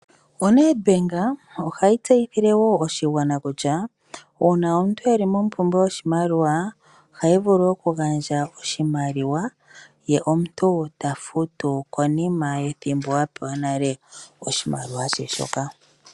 ONedbank ohayi tseyithile woo oshigwana kutya uuna omuntu e li mompumbwe yoshimaliwa ohayi vulu wo oku ganadja oshimaliwa ye omuntu ta futu konima yethimbo a pewa nale oshimaliwa she shoka.